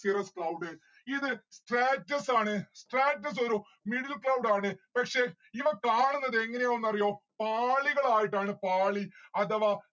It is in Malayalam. cirrus cloud ഇത് stratus ആണ് stratus ഒരു middle cloud ആണ്. പക്ഷെ ഇവ കാണുന്നത് എങ്ങനെയാണെന്ന് അറിയോ പാളികളായിട്ടാണ് പാളി അഥവാ